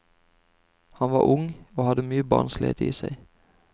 Han var ung, og hadde mye barnslighet i seg.